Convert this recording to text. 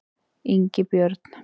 Ingibjörn